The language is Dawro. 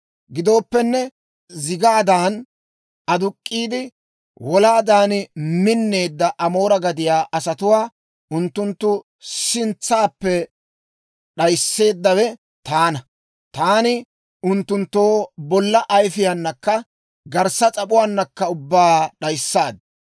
«Gidooppenne, zigaadan aduk'k'iide, wolaadan minneedda Amoore gadiyaa asatuwaa unttunttu sintsaappe d'ayisseeddawe taana. Taani unttunttoo bolla ayifiyaanakka garssa s'ap'uwaanakka ubbaa d'ayissaad.